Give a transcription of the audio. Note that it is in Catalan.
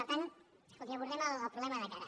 per tant escolti abordem el problema de cara